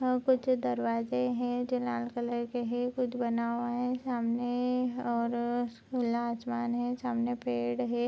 यहाँ कुछ दरवाजे है जो लाल कलर के है कुछ बना हुआ है सामने और खुला आसमान है सामने पेड़ है।